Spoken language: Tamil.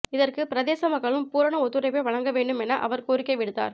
இதற்கு பிரதேச மக்களும் பூரண ஒத்துழைப்பை வழங்கவேண்டும் என அவர் கோரிக்கை விடுத்தார்